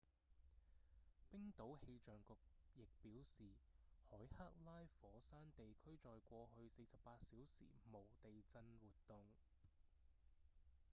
冰島氣象局亦表示海克拉火山地區在過去48小時無地震活動